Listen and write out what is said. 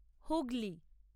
Hooghly.